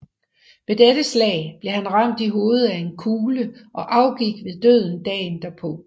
Ved dette slag blev han ramt i hovedet af en kugle og afgik ved døden dagen derpå